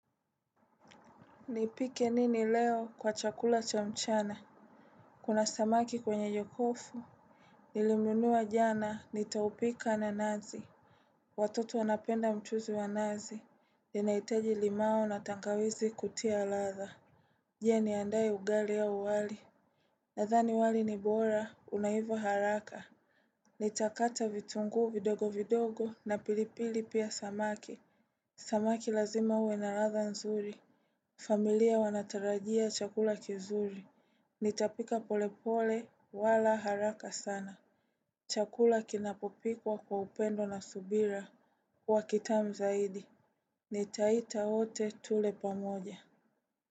Nipike nini leo kwa chakula cha mchana. Kuna samaki kwenye jokofu. Nilimnunua jana nitaupika na nazi. Watoto wanapenda mchuzi wa nazi. Ninahitaji limao na tangawizi kutia ladha. Je niandae ugali au wali. Nadhani wali ni bora unaiva haraka. Nitakata vitungu vidogo vidogo na pilipili pia samaki. Samaki lazima uwe na ladha nzuri. Familia wanatarajia chakula kizuri, nitapika polepole wala haraka sana chakula kinapopikwa kwa upendo na subira huwa kitamu zaidi. Nitaita wote tule pamoja.